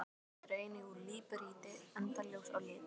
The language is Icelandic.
Fjöllin eru einnig úr líparíti enda ljós á lit.